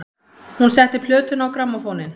Hún setti plötuna á grammófóninn.